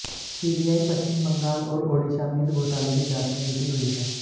CBI Paschim Bengal और ओडिशा में इस घोटाले की जांच में जुटी हुई है